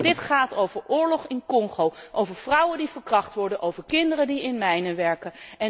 Dit gaat over oorlog in Congo, over vrouwen die verkracht worden, over kinderen die in mijnen werken.